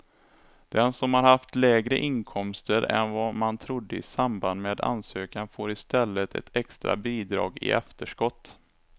Den som har haft lägre inkomster än vad man trodde i samband med ansökan får i stället ett extra bidrag i efterskott.